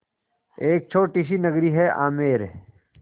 एक छोटी सी नगरी है आमेर